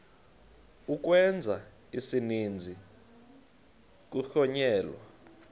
ukwenza isininzi kuhlonyelwa